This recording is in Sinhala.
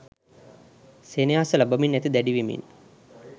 සෙනෙහස ලබමින් ඇති දැඩි වෙමින්